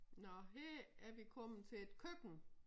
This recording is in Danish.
Nå her er vi kommet til et køkken